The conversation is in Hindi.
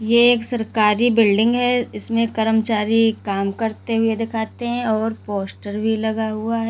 ये एक सरकारी बिल्डिंग है। इसमें कर्मचारी काम करते हुए दिखाते हैं और पोस्टर भी लगा हुआ है।